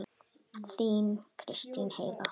Þín Kristín Heiða.